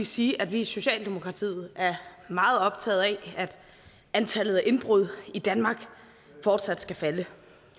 sige at vi i socialdemokratiet er meget optaget af at antallet af indbrud i danmark fortsat skal falde